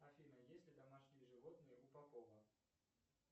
афина есть ли домашние животные у попова